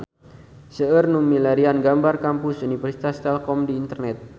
Seueur nu milarian gambar Kampus Universitas Telkom di internet